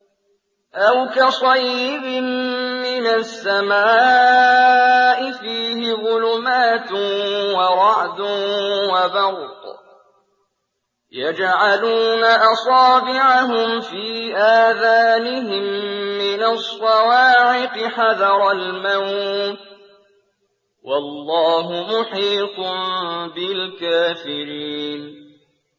أَوْ كَصَيِّبٍ مِّنَ السَّمَاءِ فِيهِ ظُلُمَاتٌ وَرَعْدٌ وَبَرْقٌ يَجْعَلُونَ أَصَابِعَهُمْ فِي آذَانِهِم مِّنَ الصَّوَاعِقِ حَذَرَ الْمَوْتِ ۚ وَاللَّهُ مُحِيطٌ بِالْكَافِرِينَ